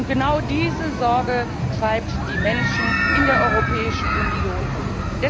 Und genau diese Sorge treibt die Menschen in der Europäischen Union um.